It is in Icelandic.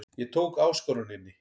Ég tók áskoruninni.